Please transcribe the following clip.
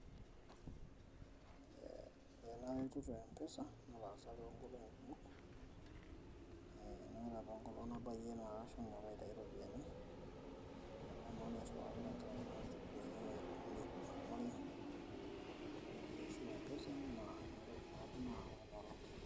Ee enasiai empesa nataasa toonkolongi kumok, ore apa enkolong nabayie nashomo airiwaa mbisai, nairwaa tenkaraki nchugulini kumok neaku ore esiai e mpesa neaku ina apa nayawa inaolong.